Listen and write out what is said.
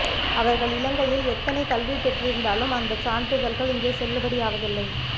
அவர்கள் இலங்கையில் எத்தனை கல்வி பெற்றிருந்தாலும் அந்தச் சான்றிதழ்கள் இங்கே செல்லுபடியாவதில்லை